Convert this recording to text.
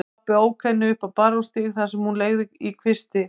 Pabbi ók henni upp á Barónsstíg þar sem hún leigði í kvisti.